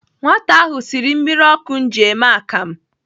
Nwata ahụ siri mmiri ọkụ m ji eme akam.